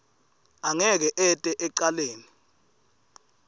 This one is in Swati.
angeke ete ecaleni